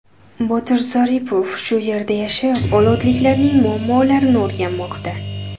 Botir Zaripov shu yerda yashab, olotliklarning muammolarini o‘rganmoqda.